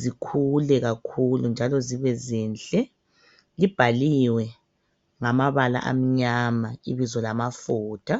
zikhule kakhulu njalo zibe zinhle. Libhaliwe ngamabala amnyama ibizo lamafutha